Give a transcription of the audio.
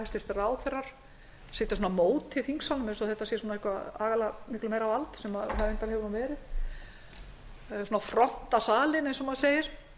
hæstvirtir ráðherrar sitja móti þingsalnum eins og þetta sé eitthvað faglega miklu meira vald sem það hefur nú reyndar verið svona fronta salinn eins og maður segir